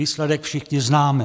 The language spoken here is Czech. Výsledek všichni známe.